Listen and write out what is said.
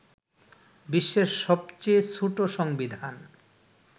বিশ্বের সবচেয়ে ছোট সংবিধান